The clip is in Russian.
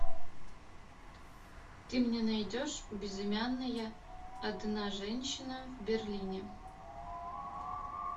ты мне найдешь безымянная одна женщина в берлине